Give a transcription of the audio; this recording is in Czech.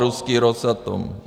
Ruský Rosatom.